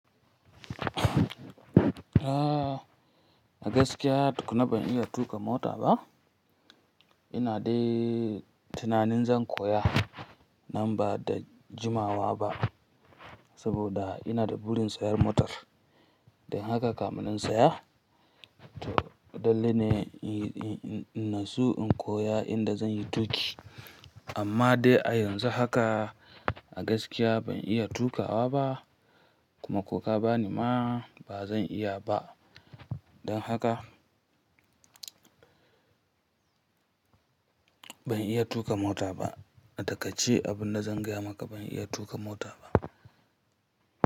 A gaskiya, tukunna ban iya tuƙa mota ba. Ina dai tunanin zan koya nan ba da jimawa ba, saboda ina da burin sayan motar. Dan haka kam zan siya. To, dalili ne in na so in koya inda zan yi tuƙi. Amma dai a yanzu haka a gaskiya ban iya tuƙawa ba, kuma ko ka bani ma ba zan iya ba. Don haka ban iya tuƙa mota ba. A takaice, abin da zan gaya maka ban iya tuƙa mota ba.